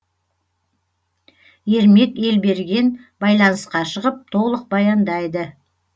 ермек елберген байланысқа шығып толық баяндайды